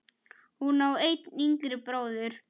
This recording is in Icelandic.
Hún á einn yngri bróður.